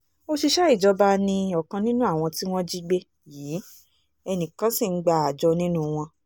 òṣìṣẹ́ ìjọba ni ọ̀kan nínú àwọn tí wọ́n jí gbé yìí ẹnì kan ṣì ń gba àjọ nínú wọn